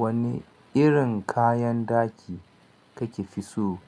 Wani irin kayan ɗaki kake fi so?